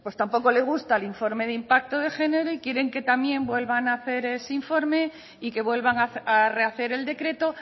tampoco le gusta el informe de impacto de género y quieren que también vuelvan a hacer ese informe y que vuelvan a rehacer el decreto